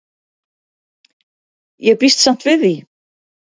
Ég býst samt við því.